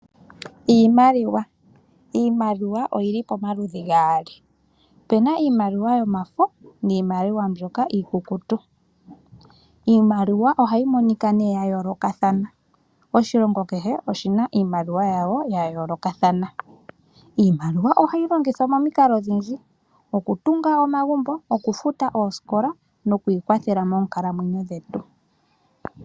Iimaliwa, iimaliwa oyili pomaludhi gaali opuna iimaliwa yomafo niimaliwa mbyoka iikukutu iimaliwa ohayi monika nee ya yoolokathana oshilongo kehe oshina iimaliwa yawo ya yoolokathana iimaliwa ohayi longwithwa momikalo odhindji okutunga omagumbo oku futa oosikola nokwi kwathela moonkalamwenyo dhetu